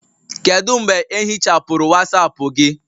Kedu mgbe ehichapụrụ Wasapu gị?